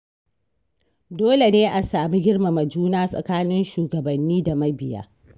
Dole ne a samu girmama juna tsakanin shugabanni da mabiya.